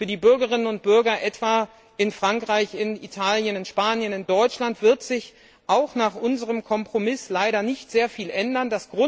Für die Bürgerinnen und Bürger etwa in Frankreich, in Italien, in Spanien oder in Deutschland wird sich auch nach unserem Kompromiss leider nicht sehr viel ändern.